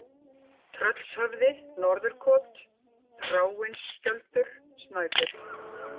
Tröllshöfði, Norðurkot, Þráinsskjöldur, Snæfjöll